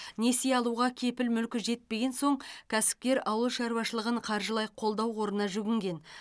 несие алуға кепіл мүлкі жетпеген соң кәсіпкер ауыл шаруашылығын қаржылай қолдау қорына жүгінген